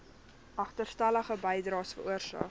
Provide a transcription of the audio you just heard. agterstallige bydraes veroorsaak